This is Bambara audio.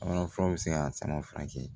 Wala furaw bɛ se ka sama furakɛ